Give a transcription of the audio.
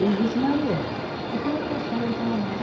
Ele disse, Maria, eu queria ir pescar aí aquela massa.